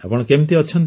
ଆପଣ କେମିତି ଅଛନ୍ତି